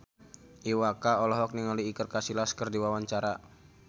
Iwa K olohok ningali Iker Casillas keur diwawancara